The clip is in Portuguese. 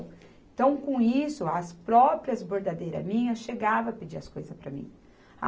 Então, com isso, as próprias bordadeiras minhas chegavam a pedir as coisas para mim.